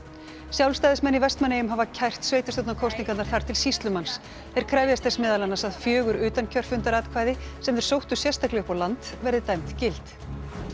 sjálfstæðismenn í Vestmannaeyjum hafa kært sveitarstjórnarkosningarnar þar til sýslumanns þeir krefjast þess meðal annars að fjögur utankjörfundaratkvæði sem þeir sóttu sérstaklega upp á land verði dæmd gild